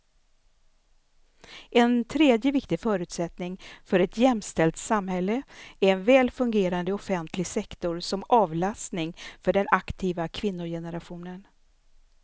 En tredje viktig förutsättning för ett jämställt samhälle är en väl fungerande offentlig sektor som avlastning för den aktiva kvinnogenerationen.